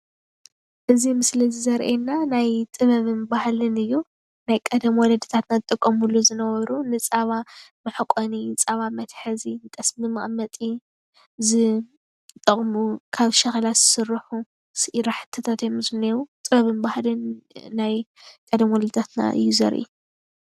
እዚ ምስሊ ዘርኤና ናይ ጥበብን ባህልን እዩ ።ናይ ቀደም ወለድና ዝጥቀሙሉ ዝነበሩ ንፃባ መሕቋኒ ።፣ንፃባ መትሓዚ ፣ጠስሚ መቅመጢ ካብ ሸክላ ዝስሩሓ ስራሕትታት እዩ ዘለው ጥበብን ባህልን ናይ ቀደም ወለድታትና እዩ ዘርኢ።